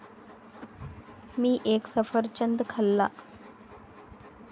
मी एक सफरचंद खाल्ला.